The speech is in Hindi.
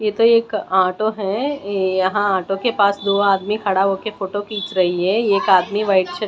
ये तो एक ऑटो है यहां ऑटो के पास दो आदमी खड़ा होकर फोटो खींच रही है एक आदमी वाइट शर्ट --